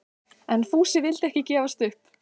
En Fúsi vildi ekki gefast upp.